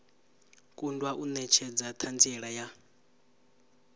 kundwa u netshedza thanziela ya